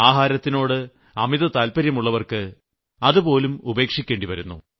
ആഹാരത്തിനോട് അമിതതാല്പര്യം ഉള്ളവർക്ക് അതുപോലും ഉപേക്ഷിക്കേണ്ടിവരുന്നു